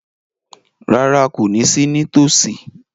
Rárá, kò ní sí ní tòsí